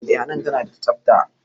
Eh hanan tana da tsafta